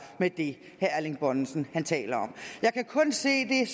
med det herre erling bonnesen taler om jeg kan kun se det